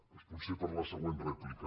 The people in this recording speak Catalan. doncs potser per a la següent rèplica